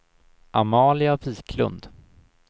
Amalia Wiklund